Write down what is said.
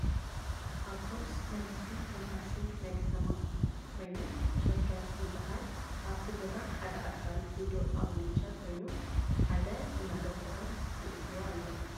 ኣብቶብስ ናይ ህዝቢ ከም ታክሲ ናይ ከተማ ኮይነን ሸገር ዝበሃለ ኣብ ቲ ቦታ ሓደ ኣካል ጉዱእ ኣብ ዊልቸው ከይኑ ሓደ እናደፍኦ የእትዎ ኣሎ።